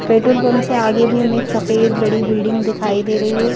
Petrol pump से आगे भी हमें एक सफेद बड़ी बिल्डिंग दिखाई दे रही है।